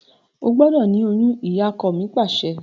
O gbọ́dọ̀ ni oyún! Ìyakọ mi Pàṣẹ.